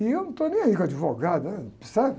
E eu não estou nem aí com advogado, ãh, percebe?